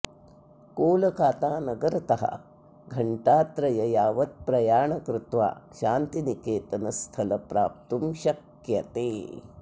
कोलकोतानगरतः घण्टात्रय यावत् प्रयाण कृत्वा शान्तिनिकेतन स्थल प्राप्तु शक्यते